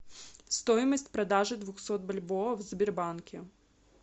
стоимость продажи двухсот бальбоа в сбербанке